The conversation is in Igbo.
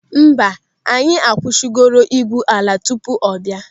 Mba, anyị akwụsịgori ị́gwụ́ ala tupu ọ bịa.